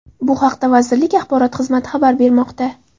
Bu haqda vazirlik axborot xizmati xabar bermoqda.